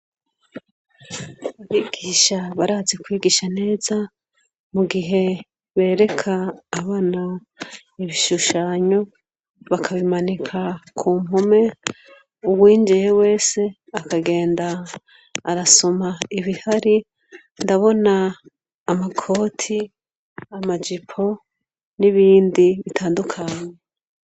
Abigisha barazi kwigisha neza mu gihe bereka abana ibishushanyo bakabimanika ku mpume uwinjiye wese akagenda arasoma ibihari ndabona amakoti amajipo n'ibindi bitandukanye.